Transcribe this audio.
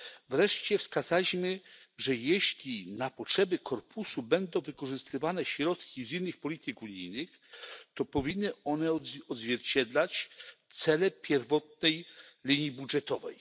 Wreszcie wskazaliśmy, że jeśli na potrzeby korpusu będą wykorzystywane środki z innych polityk unijnych, to powinny one odzwierciedlać cele pierwotnej linii budżetowej.